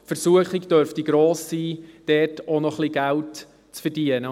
Die Versuchung dürfte gross sein, dort auch noch ein bisschen Geld zu verdienen.